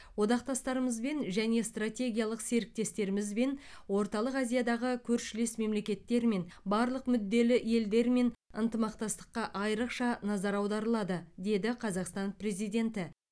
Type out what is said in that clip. одақтастарымызбен және стратегиялық серіктестерімізбен орталық азиядағы көршілес мемлекеттермен барлық мүдделі елдермен ынтымақтастыққа айрықша назар аударылады деді қазақстан президенті